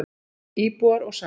Íbúar og saga.